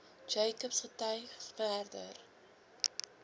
jacobs getuig verder